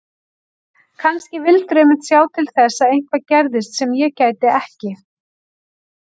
Kannski vildirðu einmitt sjá til þess að eitthvað gerðist sem ég gæti ekki